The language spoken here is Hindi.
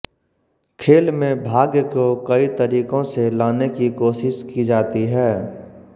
खेल में भाग्य को कई तरीकों से लाने की कोशिश की जाती है